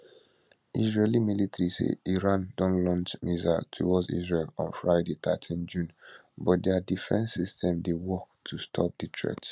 israeli military say iran don launch missiles towards israel on friday thirteen june but dia defence systems dey work to stop di threat